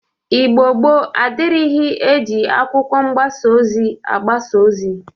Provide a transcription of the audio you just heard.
Igbo gboo adịrighi e ji akwụkwọ mgbasa ozi agbasa ozi